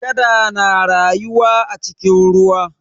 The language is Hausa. Kada na rayuwa a cikin ruwa.